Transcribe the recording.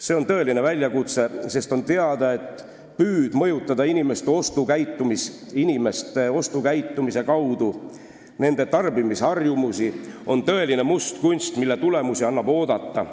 See on tõeline probleem, sest on teada, et püüd mõjutada inimeste ostukäitumise kaudu nende tarbimisharjumusi on tõeline mustkunst, mille tulemusi annab oodata.